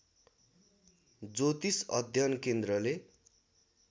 ज्योतिष अध्ययन केन्द्रले